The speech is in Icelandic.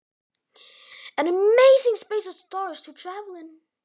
Ótrúlegt rúm handa stjörnum að ferðast í.